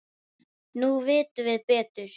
Nú vitum við betur.